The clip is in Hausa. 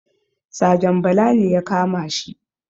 Sajan bala ne ya kamashi